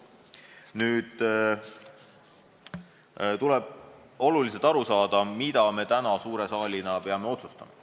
Meile on nüüd oluline aru saada, mida me täna suure saalina peame otsustama.